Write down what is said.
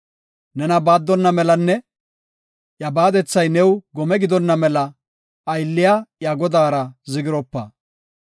Nena baaddonna melanne iya baadethay new gome gidonna mela, aylliya iya godaara zigropa.